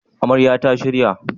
Amaryar ta shirya?